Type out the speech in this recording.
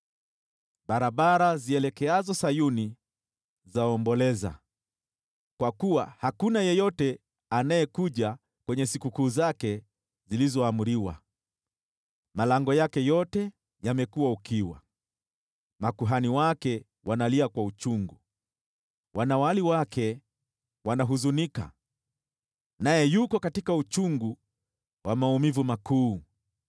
Barabara zielekeazo Sayuni zaomboleza, kwa kuwa hakuna yeyote anayekuja kwenye sikukuu zake zilizoamriwa. Malango yake yote yamekuwa ukiwa, makuhani wake wanalia kwa uchungu, wanawali wake wanahuzunika, naye yuko katika uchungu wa maumivu makuu.